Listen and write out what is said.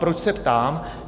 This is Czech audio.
Proč se ptám?